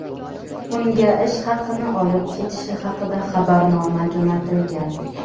unga ish haqini olib ketishi haqida xabarnoma jo‘natilgan.